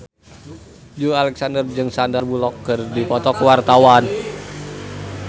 Joey Alexander jeung Sandar Bullock keur dipoto ku wartawan